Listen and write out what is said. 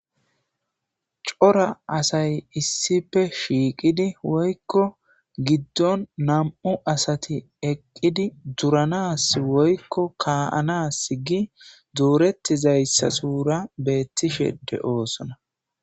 cora asay issife shiiqidi woykko giddon nam7u asati eqqidi duranas woykko kaaanas gi duurettizayssa suura beettishe de7oosona